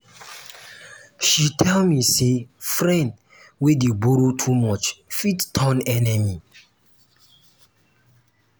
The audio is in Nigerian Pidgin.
she tell me sey friend wey dey borrow too much fit turn enemy.